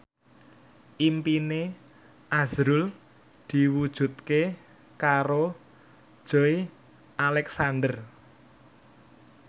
impine azrul diwujudke karo Joey Alexander